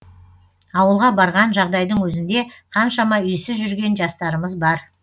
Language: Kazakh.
ауылға барған жағдайдың өзінде қаншама үйсіз жүрген жастарымыз бар